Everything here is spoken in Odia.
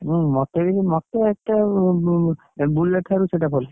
ହୁଁ ମତେ ବି ସେ ମତେ ଏତେ Bullet ଠାରୁ ସେଇଟା ଭଲ